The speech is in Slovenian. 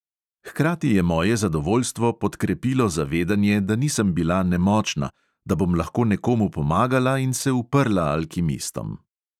Hkrati je moje zadovoljstvo podkrepilo zavedanje, da nisem bila nemočna, da bom lahko nekomu pomagala in se uprla alkimistom.